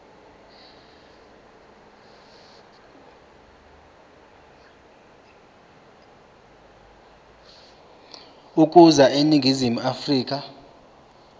ukuza eningizimu afrika